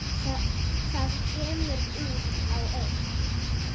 Það kemur út á eitt.